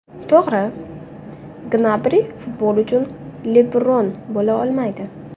To‘g‘ri, Gnabri futbol uchun Lebron bo‘la olmaydi.